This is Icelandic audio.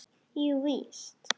Jú víst.